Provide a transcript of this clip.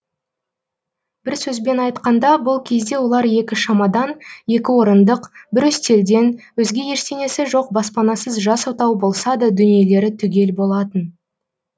бір сөзбен айтқанда бұл кезде олар екі шамадан екі орындық бір үстелден өзге ештеңесі жоқ баспанасыз жас отау болса да дүниелері түгел болатын